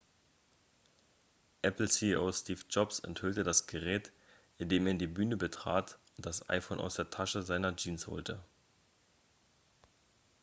apple-ceo steve jobs enthüllte das gerät indem er die bühne betrat und das iphone aus der tasche seiner jeans holte